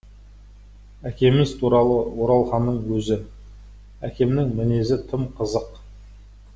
әкеміз туралы оралханның өзі әкемнің мінезі тым қызық